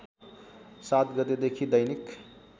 ७ गतेदेखि दैनिक